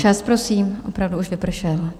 Čas, prosím, opravdu už vypršel!